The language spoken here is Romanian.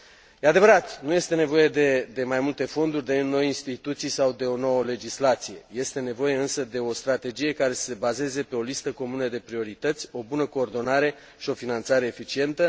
E adevărat, nu este nevoie de mai multe fonduri, de noi instituții sau de o nouă legislație, este nevoie însă de o strategie care să se bazeze pe o listă comună de priorități, o bună coordonare și o finanțare eficientă.